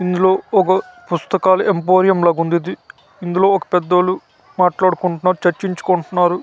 ఇందులో ఒక పుస్తకాల ఏంబొరియం లాగా ఉందిది ఇందులో ఒక పేదోలు మాట్లాడుకుంటున్నారు చర్చించుకుంటున్నారు.